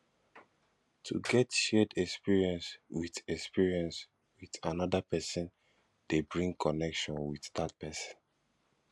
to get shared experience with experience with another persin de bring connection with dat persin